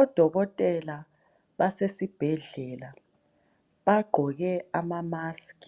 Odokotela basesibhedlela bagqoke ama musk